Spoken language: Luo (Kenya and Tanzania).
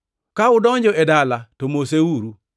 Ka udonjo e dala to moseuru.